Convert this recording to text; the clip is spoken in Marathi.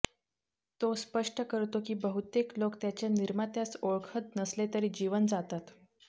तो स्पष्ट करतो की बहुतेक लोक त्याच्या निर्मात्यास ओळखत नसले तरी जीवन जातात